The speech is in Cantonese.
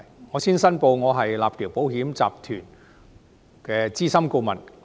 我先申報，我是立橋保險集團的資深顧問。